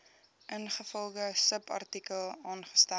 ingevolge subartikel aangestel